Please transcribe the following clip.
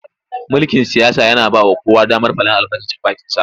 Mulkin siyasa yana ba wa kowa damar faɗar albarkacin bakinsa.